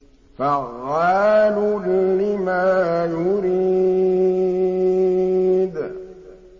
فَعَّالٌ لِّمَا يُرِيدُ